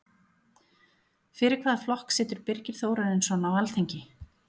Fyrir hvaða flokk situr Birgir Þórarinsson á Alþingi?